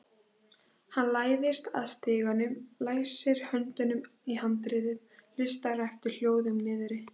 Hann læðist að stiganum, læsir höndunum í handriðið, hlustar eftir hljóðum niðri.